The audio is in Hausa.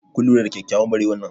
kun lura da kyakkyawar barewar nan?